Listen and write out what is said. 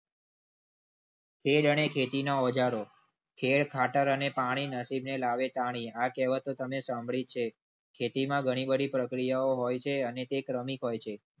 અને ખેતીના ઓજારો ખેડ ખાતર અને પાણી નથી ને લાવે તાણી આ કહેવત તો તમે સાંભળી છે. ખેતીમાં ઘણી બધી પ્રક્રિયા હોય છે અને તે કૃમિ હોય છે?